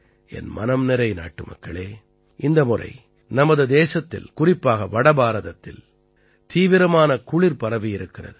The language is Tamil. என் மனம்நிறை நாட்டுமக்களே இந்த முறை நமது தேசத்தில் குறிப்பாக வட பாரதத்தில் தீவிரமான குளிர் பரவியிருக்கிறது